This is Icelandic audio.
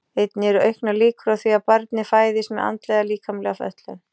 Einnig eru auknar líkur á því að barnið fæðist með andlega eða líkamlega fötlun.